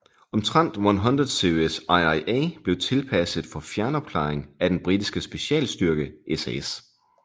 Omtrent 100 Series IIA blev tilpasset for fjernopklaring af den britiske specialstyrke SAS